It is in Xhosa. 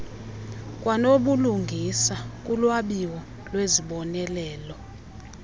kwanobulungisa kulwabiwo lwezibonelelo